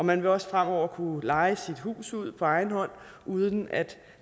man vil også fremover kunne leje sit hus ud på egen hånd uden at